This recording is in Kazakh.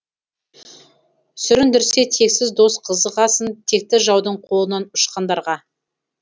сүріндірсе тексіз дос қызығасын текті жаудың қолынан ұшқандарға